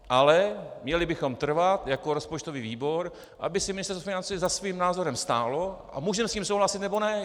Ale měli bychom trvat jako rozpočtový výbor, aby si Ministerstvo financí za svým názorem stálo, a můžeme s tím souhlasit, nebo ne.